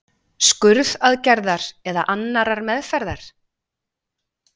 skurðaðgerðar eða annarrar meðferðar?